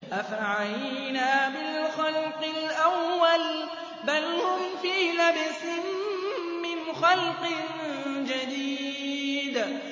أَفَعَيِينَا بِالْخَلْقِ الْأَوَّلِ ۚ بَلْ هُمْ فِي لَبْسٍ مِّنْ خَلْقٍ جَدِيدٍ